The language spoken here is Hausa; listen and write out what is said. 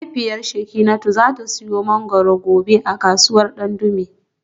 Mahaifiyar Shekinatu za ta siyo mangwaro gobe a kasuwar Dandume